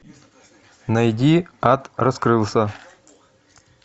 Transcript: найди ад раскрылся